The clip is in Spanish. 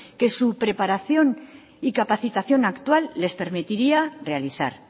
que su preparación y capacitación actual les permitiría realizar